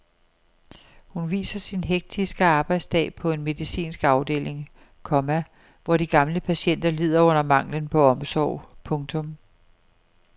Hun viser sin hektiske arbejdsdag på en medicinsk afdeling, komma hvor de gamle patienter lider under manglen på omsorg. punktum